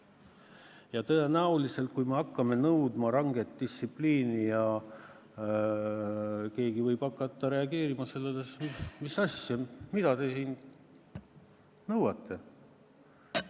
Ja tõenäoliselt, kui me hakkame õpetajatelt nõudma ranget distsipliini, siis keegi võib hakata reageerima sellele nii, et misasja, mida te siin nõuate.